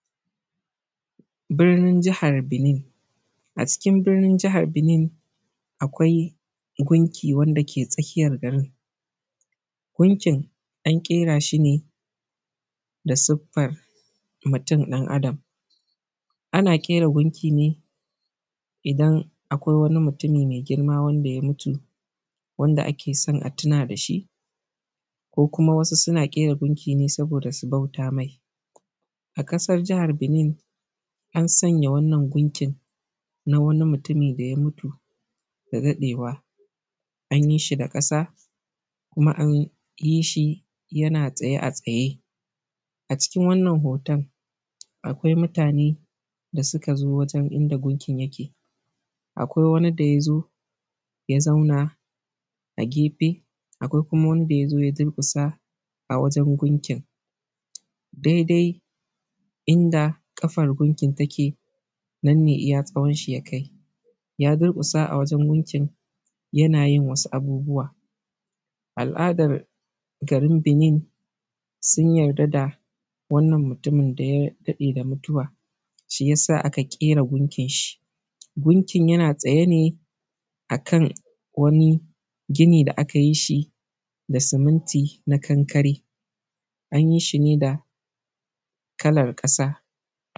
Birnin Jihar Benin a cikin birnin Jihar Benin akwai gunki wanda ke tsakiyar garin ,gunkin an ƙera shi ne da sirfan mutum ɗan Adam ana ƙera gunkin ne idan akwai wani mutumi mai girma wanda ya mutu, wanda ake so a tuna da shi ko kuma wasu suna ƙera gunki ne sabo da su bauta mai A ƙasar Jihar Benin an sanya wannan gunkin na wani mutum da ya mutu da daɗewa an yi shi yana tsaye a tsaye a cikin wannan hoton akwai mutane da suka zo wajen, inda gukin yake akwai wani da ya zo ya zauna a gefe, akwai kuma wanda ya zo ya durƙusa a wajen gunkin daidai inda ƙafar gunkin take nan ne iya tsawan shi ya kai, ya durƙusa a wajen gunkin yana yin wasu abubuwa al`adar garin Benin sun yarda da wannan mutumin da ya daɗe da mutuwa, shi. Gunkin yana tsaye ne a kan wani gini da aka yi shi da siminti na kankare an yi shi ne da kalar ƙasa,